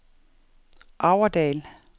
Aurdal